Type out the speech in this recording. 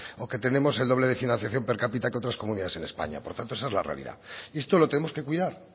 o que tenemos el doble de financiación per cápita que otras comunidades en españa por tanto esa es la realidad y esto lo tenemos que cuidar